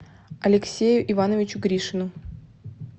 алексею ивановичу гришину